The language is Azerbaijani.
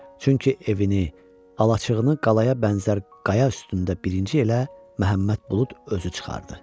Çünki evini, alaçığını qayaya bənzər qaya üstündə birinci elə Məhəmməd Bulud özü çıxardı.